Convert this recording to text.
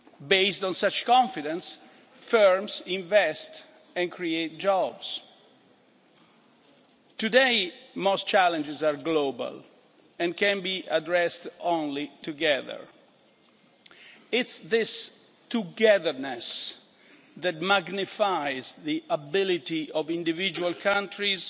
Based on such confidence, firms invest and create new jobs. Today, most challenges are global and can only be addressed together. It is this togetherness' that magnifies the ability of individual countries